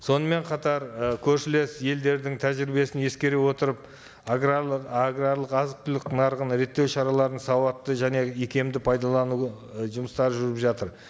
сонымен қатар і көршілес елдердің тәжірибесін ескере отырып аграрлық аграрлық азық түлік нарығын реттеу шараларын сауатты және икемді пайдалану і жұмыстары жүріп жатыр